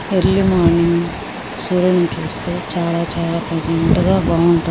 Early morning సూర్యుడిని చూస్తే చాలా చాలా ప్లీస్సెంట్ గా బాగుంటది.